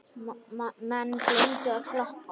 Menn gleymdu að klappa.